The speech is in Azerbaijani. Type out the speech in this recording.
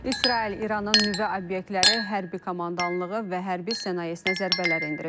İsrail İranın nüvə obyektləri, hərbi komandanlığı və hərbi sənayesinə zərbələr endirib.